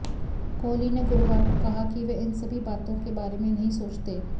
कोहली ने गुरुवार को कहा कि वह इन सभी बातों के बारे में नहीं सोचते